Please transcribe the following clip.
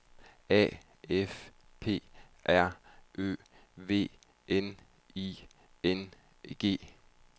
A F P R Ø V N I N G